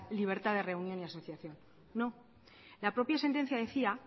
libertad de reunión y asociación no la propia sentencia decía